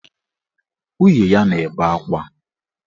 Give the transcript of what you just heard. Nwunye ya na-ebe akwa.